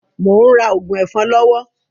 Mò ń rà òògùn ẹ̀fọ́rí lọ́wọ́